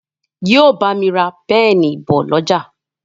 yíò bámi rà Pẹ́ẹ̀nì bó l'ọja